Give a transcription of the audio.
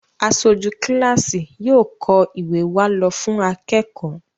aṣojú kilasi yóò kọ ìwé wá ló fún akékòó.